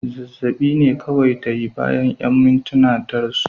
Zazzab'i ne kawai ta yi, bayan 'yan mintuna ta rasu.